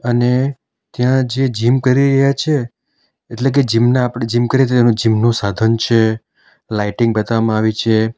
અને ત્યાં જે જીમ કરી રહ્યા છે એટલે કે જીમ ના આપણે જીમ કરી જીમ નો સાધન છે લાઇટિંગ બતાવવામાં આવી છે.